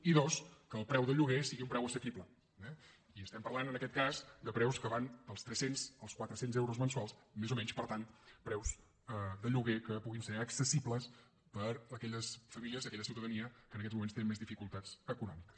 i dos que el preu del lloguer sigui un preu assequible i estem parlant en aquest cas de preus que van dels trescents als quatrecents euros mensuals més o menys per tant preus de lloguer que puguin ser accessibles per a aquelles famílies i aquella ciutadania que en aquests moments tenen més dificultats econòmiques